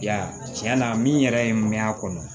I y'a ye tiɲɛ na min yɛrɛ ye mɛn a kɔnɔ